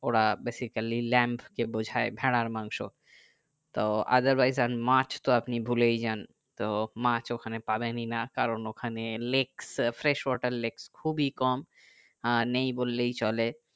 ওরা basically lamb কে বোঝাই ভেড়ার মাংস তো otherwise and মাছ তো আপনি ভুলেই যান তো মাছ ওখানে পাবেনই না কারো ওখানে lakes fresh water lakes খুবই কম আহ নেই বললেই চলে